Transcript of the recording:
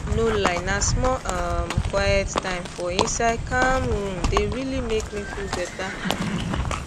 no lie na small um quiet time for insde calm room dey really make me feel better